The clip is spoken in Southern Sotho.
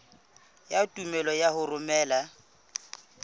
ya tumello ya ho romela